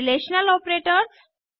relational operators